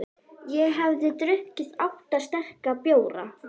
Ég hafði drukkið átta sterka bjóra.